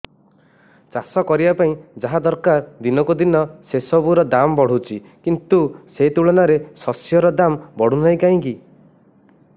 ଚାଷ କରିବା ପାଇଁ ଯାହା ଦରକାର ଦିନକୁ ଦିନ ସେସବୁ ର ଦାମ୍ ବଢୁଛି କିନ୍ତୁ ସେ ତୁଳନାରେ ଶସ୍ୟର ଦାମ୍ ବଢୁନାହିଁ କାହିଁକି